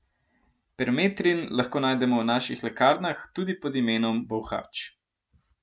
Permetrin lahko najdemo v naših lekarnah tudi pod imenom bolhač.